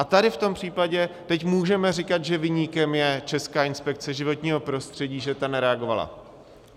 A tady v tom případě teď můžeme říkat, že viníkem je Česká inspekce životního prostředí, že ta nereagovala.